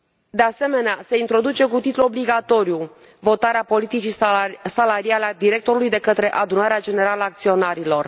De asemenea, se introduce cu titlu obligatoriu votarea politicii salariale a directorului de către Adunarea Generală a Acționarilor.